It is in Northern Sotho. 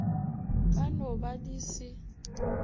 ka no ba di se